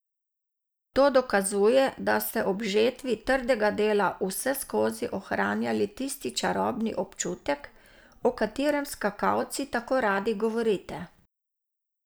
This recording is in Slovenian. To dokazuje, da ste ob žetvi trdega dela vseskozi ohranjali tisti čarobni občutek, o katerem skakalci tako radi govorite.